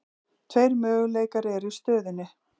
Tveir möguleikar eru í stöðunni.